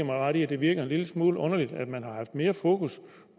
mig ret i at det virker en lille smule underligt at man har haft mere fokus